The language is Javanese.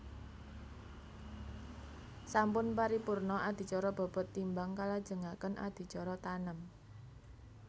Sampun paripurna adicara bobot timbang kalajengaken adicara tanem